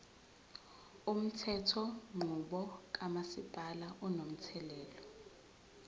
umthethonqubo kamasipala unomthelela